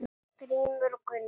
Grímur og Gunnar.